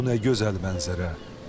Bu nə gözəl mənzərə.